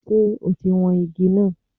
Ṣe ọ̀ ti wọn igi náà?